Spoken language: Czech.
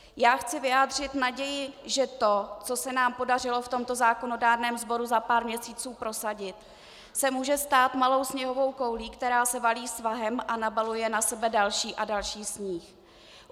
Já chci vyjádřit naději, že to, co se nám podařilo v tomto zákonodárném sboru za pár měsíců prosadit, se může stát malou sněhovou koulí, která se valí svahem a nabaluje na sebe další a další sníh.